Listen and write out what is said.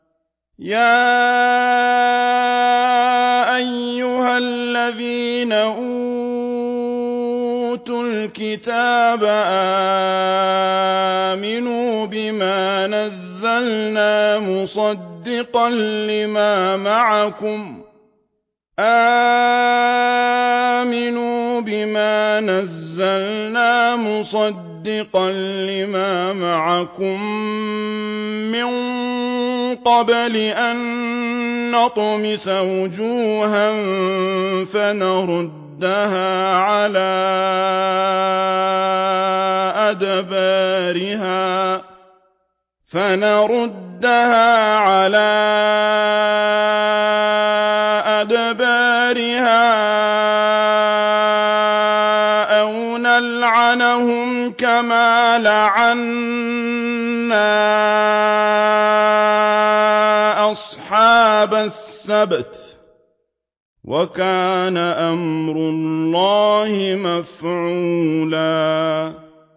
يَا أَيُّهَا الَّذِينَ أُوتُوا الْكِتَابَ آمِنُوا بِمَا نَزَّلْنَا مُصَدِّقًا لِّمَا مَعَكُم مِّن قَبْلِ أَن نَّطْمِسَ وُجُوهًا فَنَرُدَّهَا عَلَىٰ أَدْبَارِهَا أَوْ نَلْعَنَهُمْ كَمَا لَعَنَّا أَصْحَابَ السَّبْتِ ۚ وَكَانَ أَمْرُ اللَّهِ مَفْعُولًا